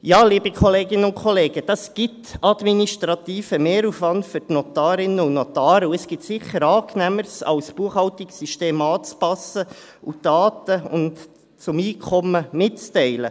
Ja, das gibt administrativen Mehraufwand für die Notarinnen und Notare, und es gibt sicher Angenehmeres als Buchhaltungssysteme anzupassen und Daten zum Einkommen mitzuteilen.